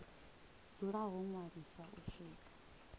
dzula ho ṅwaliswa u swika